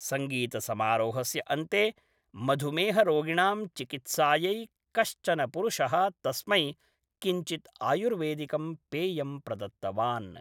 सङ्गीतसमारोहस्य अन्ते मधुमेहरोगिणां चिकित्सायै कश्चन पुरुषः तस्मै किञ्चित् आयुर्वेदिकं पेयं प्रदत्तवान् ।